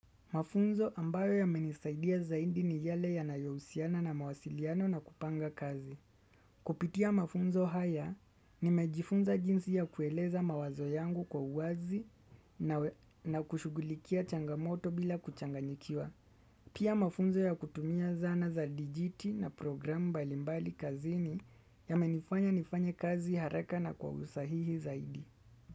Mafunzo ambayo yamenisaidia zaidi ni yale yanayousiana na mawasiliano na kupanga kazi. Kupitia mafunzo haya, nimejifunza jinsi ya kueleza mawazo yangu kwa uazi na kushugulikia changamoto bila kuchanganyikiwa. Pia mafunzo ya kutumia zana za dijiti na program balimbali kazini yamenifanya nifanye kazi haraka na kwa usahihi zaidi.